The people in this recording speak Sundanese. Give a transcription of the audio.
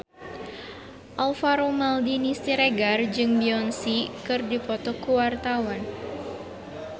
Alvaro Maldini Siregar jeung Beyonce keur dipoto ku wartawan